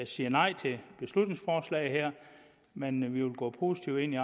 siger nej til beslutningsforslaget her men vi vil gå positivt ind i